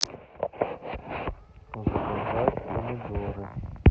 заказать помидоры